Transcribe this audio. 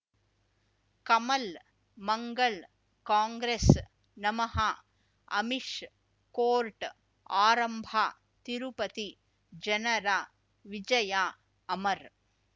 ಕಮಲ್ ಮಂಗಳ್ ಕಾಂಗ್ರೆಸ್ ನಮಃ ಅಮಿಷ್ ಕೋರ್ಟ್ ಆರಂಭ ತಿರುಪತಿ ಜನರ ವಿಜಯ ಅಮರ್